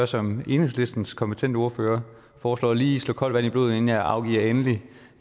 som enhedslistens kompetente ordfører foreslår lige slå koldt vand i blodet inden jeg afgiver et endeligt